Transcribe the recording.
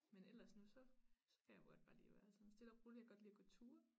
Men ellers nu så så kan jeg godt bare lide at være sådan stille og rolig jeg kan godt lide at gå ture